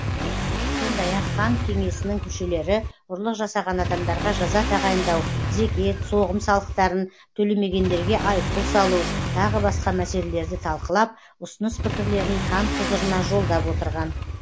сондай ақ хан кеңесінің мүшелері ұрлық жасаған адамдарға жаза тағайындау зекет соғым салықтарын төлемегендерге айыппұл салу тағы басқа мәселелерді талқылап ұсыныс пікірлерін хан құзырына жолдап отырған